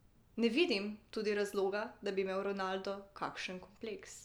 Ne vidim tudi razloga, da bi imel Ronaldo kakšen kompleks.